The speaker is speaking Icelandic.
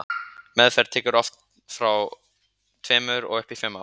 Meðferð tekur oft frá tveimur og upp í fimm ár.